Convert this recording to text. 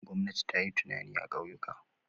Gwamnati ta yi tituna a ƙauyuka.